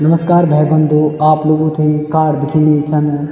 नमस्कार भाई-बंधो आप लोगों थे कार दिखेणी छन।